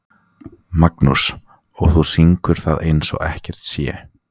Magnús: Og þú syngur það eins og ekkert sé?